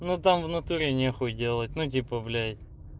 ну там внутри нехуй делать ну типа блять